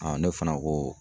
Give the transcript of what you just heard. ne fana ko